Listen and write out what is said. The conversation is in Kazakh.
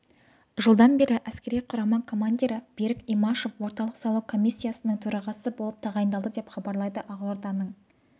жылдан бері әскери құрама командирі берік имашев орталық сайлау комиссиясының төрағасы болып тағайындалды деп хабарлайды ақорданың